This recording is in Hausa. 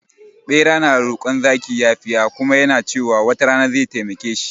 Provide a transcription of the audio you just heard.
Bera na rokon zaki yafiya kuma yana cewa wata rana zai taimake shi